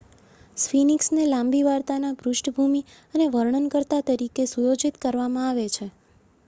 સ્ફિનિક્સને લાંબી વાર્તાના પૃષ્ઠભૂમિ અને વર્ણનકર્તા તરીકે સુયોજિત કરવામાં આવે છે